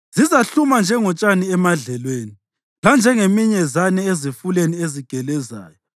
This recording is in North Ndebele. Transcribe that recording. Zizahluma njengotshani emadlelweni, lanjengeminyezane ezifuleni ezigelezayo.